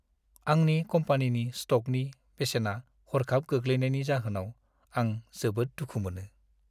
आंनि कम्पानिनि स्ट'कनि बेसेना हर्खाब गोग्लैनायनि जाहोनाव आं जोबोद दुखु मोनो।